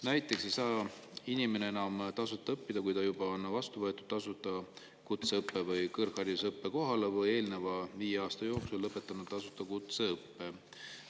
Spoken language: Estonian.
Näiteks ei saa inimene enam tasuta õppida, kui ta juba on vastu võetud tasuta kutseõppe- või kõrgharidusõppe kohale või on eelneva viie aasta jooksul lõpetanud tasuta kutseõppe.